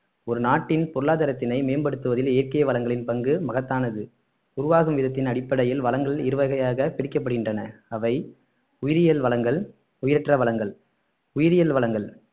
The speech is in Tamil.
ஒரு நாட்டின் பொருளாதாரத்தினை மேம்படுத்துவதில் இயற்கை வளங்களின் பங்கு மகத்தானது உருவாகும் விதத்தின் அடிப்படையில் வளங்கள் இரு வகையாக பிரிக்கப்படுகின்றன அவை உயிரியல் வளங்கள் உயிரற்ற வளங்கள் உயிரியல் வளங்கள்